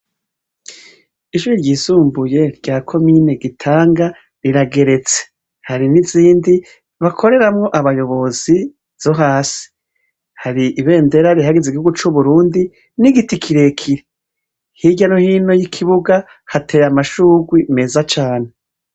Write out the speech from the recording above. Ishure ryisumbuye rya komine Gitanga rirageretse, hari n'izindi bakoreramwo abayobozi zohasi, hari ibendera rihayagiza igihugu c'uburundi n'igiti kirekire hiryo no hino yikibuga hateye amashurwe meza cane.